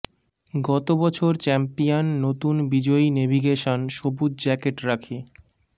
গত বছর চ্যাম্পিয়ন নতুন বিজয়ী নেভিগেশন সবুজ জ্যাকেট রাখে